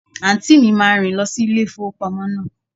Àǹtí mi máa rìn lọ sí ilé ìfowópamọ́ náà.